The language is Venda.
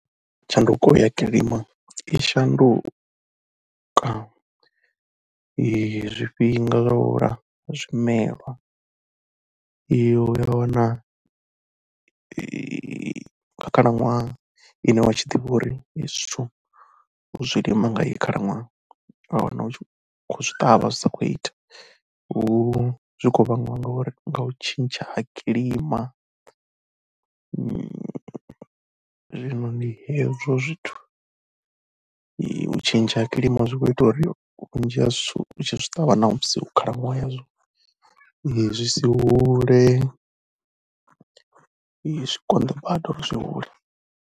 Tshanduko ya kilima i shanduka zwifhinga zwa u hula ha zwimelwa. U ya wana kha khalaṅwaha ine wa tshi ḓivha uri izwi zwithu u zwi lima nga heyi khalaṅwaha, wa wana u tshi khou zwi ṱavha, zwi sa khou ita. Hu, zwi khou vhangiwa nga uri nga u tshintsha ha kilima, zwino ndi hezwo zwithu. U tshintsha ha kilima zwi khou ita uri vhunzhi ha zwithu u tshi zwi ṱavha ṋamusi hu khalaṅwaha yazwo zwi si hule, zwi konḓa badi uri zwi hule.